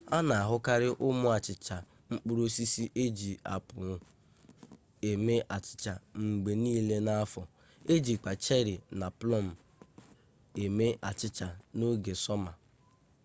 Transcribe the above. a na-ahụkarị ụmụ achịcha mkpụrụ osisi e ji apụl eme achịcha mgbe niile n'afọ ejikwa cheri na plọm eme achịcha n'oge sọma